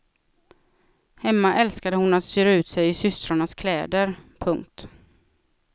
Hemma älskade hon att styra ut sig i systrarnas kläder. punkt